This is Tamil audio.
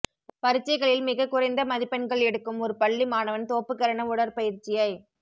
பரிட்சைகளில் மிகக் குறைந்த மதிப்பெண்கள் எடுக்கும் ஒரு பள்ளி மாணவன் தோப்புக்கரண உடற்பயிற்சியைச்